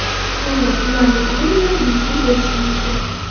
To‘g‘ri, ularning ayrimlari bepul bo‘lishi mumkin.